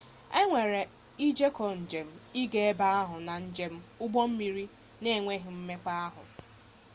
enwere ijeko jem ịga ebe ahụ na njem ụgbọ mmiri na-enweghị mmekpa ahụ